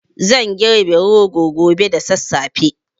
Zan girbi rogon gobe da sassafe